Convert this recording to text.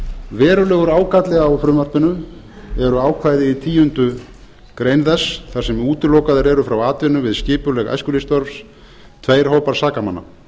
verulegur ágalli á frumvarpinu eru ákvæði í tíundu greinar þess þar sem útilokaðir eru frá atvinnu við skipuleg æskulýðsstörf tveir hópar sakamanna